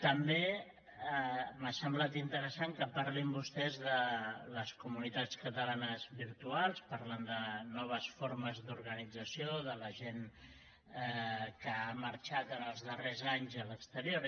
també m’ha semblat interessant que parlin vostès de les comunitats catalanes virtuals parlen de noves formes d’organització de la gent que ha marxat en els darrers anys a l’exterior